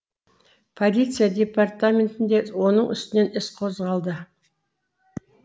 полиция департаментінде оның үстінен іс қозғалды